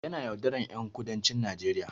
Yana yaudaran ƴan kudancin Najeriya